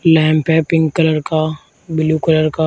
Lamp है pink colour का blue colour का।